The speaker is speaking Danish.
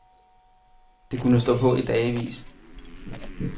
Det kunne stå på i dagevis.